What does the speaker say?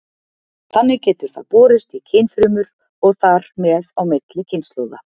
Þannig getur það borist í kynfrumur og þar með á milli kynslóða.